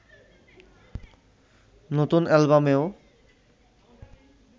নতুন অ্যালবামেও